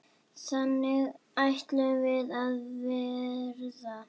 Þannig ætluðum við að verða.